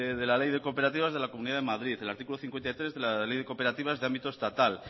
de la ley de cooperativas de la comunidad de madrid el artículo cincuenta y tres de la ley de cooperativas de ámbito estatal